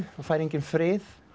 fær enginn frið